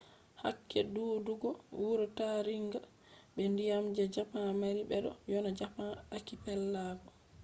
hakke ɗuuɗugo wuro taringa be ndiyam je japan mari beɗo ‘yona japan akipelago